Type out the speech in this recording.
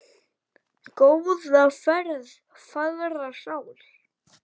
Góða ferð, fagra sál.